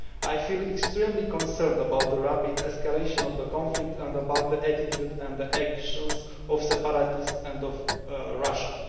I feel extremely concerned about the rapid escalation of the conflict and about the attitude and actions of separatists and of Russia.